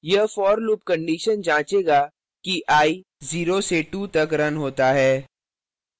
यह for loop condition जाँचेगा कि i 0 से 2 तक रन होता है